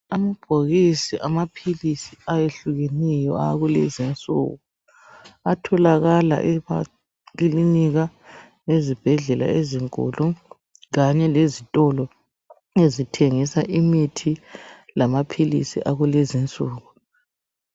Amabhokisi amaphilisi ayehlukeneyo akulezinsuku atholakala emakilinika lezibhedlela ezinkulu, kanye lezitolo ezithengisa imithi lamaphilisi akulezinsuku.